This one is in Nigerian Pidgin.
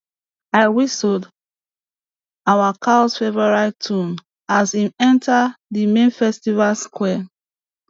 i whistled awa cows favourite tune as im enta di main festival square